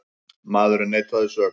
Maðurinn neitaði sök.